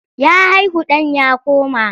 Ya haihu ɗan ya koma.